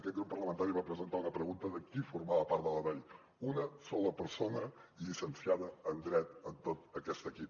aquest grup parlamentari va presentar una pregunta de qui formava part del dai una sola persona llicenciada en dret en tot aquest equip